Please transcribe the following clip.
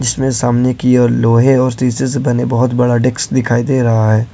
इसमें सामने की ओर लोहे और शीशे से बने बहोत बड़ा डेस्क दिखाई दे रहा है।